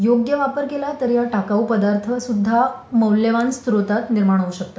योग्य वापर केला तरी हा टाकाऊ पदार्थ सुद्धा मौल्यवान स्रोतात निर्माण होऊ शकतात.